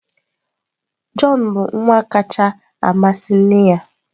Jọn bụ nwa kacha amasị nne ya.